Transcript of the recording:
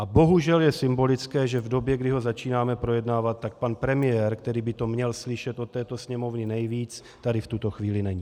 A bohužel je symbolické, že v době, kdy ho začínáme projednávat, tak pan premiér, který by to měl slyšet od této Sněmovny nejvíc, tady v tuto chvíli není.